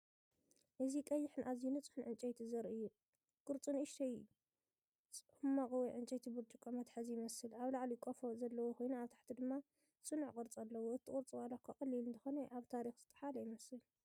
እዚ ቀይሕን ኣዝዩ ንጹህን ዕንጨይቲ ዘርኢ እዩ። ቅርጹ ንእሽቶ ጽማቝ ወይ ዕንጨይቲ ብርጭቆ መትሓዚ ይመስል። ኣብ ላዕሊ ቆፎ ዘለዎ ኮይኑ ኣብ ታሕቲ ድማ ጽኑዕ ቅርጺ ኣለዎ። እቲ ቅርጹ ዋላ'ኳ ቀሊል እንተኾነ፡ ኣብ ታሪኽ ዝጠሓለ ይመስል።